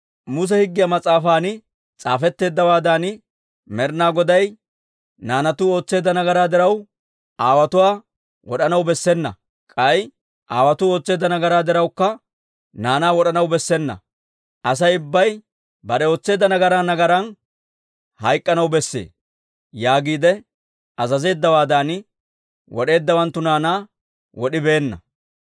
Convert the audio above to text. Muse Higgiyaa mas'aafan s'aafetteeddawaadan, Med'inaa Goday, «Naanatuu ootseedda nagaraa diraw, aawotuwaa wod'anaw bessena; k'ay aawotuu ootseedda nagaraa dirawukka, naanaa wod'anaw bessena. Asay ubbay bare ootseedda nagaran nagaran hayk'k'anaw besse» yaagiide azazeeddawaadan, wod'eeddawanttu naanaa wod'ibeenna.